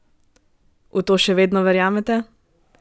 V to še vedno verjamete?